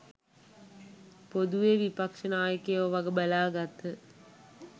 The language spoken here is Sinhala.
පොදුවේ විපක්‍ෂ නායකයෝ වග බලා ගත්හ